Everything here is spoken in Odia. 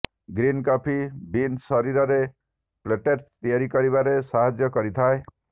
ଗ୍ରିନ୍ କଫି ବିନ୍ସ ଶରୀରରେ ପ୍ଲେଟ୍ଲେଟ୍ସ ତିଆରି କରିବାରେ ସାହାଯ୍ୟ କରିଥାଏ